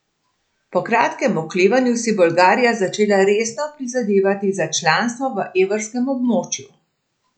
Po kratkem oklevanju si je Bolgarija začela resno prizadevati za članstvo v evrskem območju.